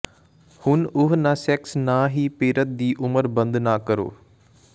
ਹੁਣ ਉਹ ਨਾ ਸੈਕਸ ਨਾ ਹੀ ਪੀੜਤ ਦੀ ਉਮਰ ਬੰਦ ਨਾ ਕਰੋ